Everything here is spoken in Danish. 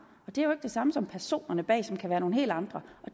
og det er jo det samme som personerne bag som kan være nogle helt andre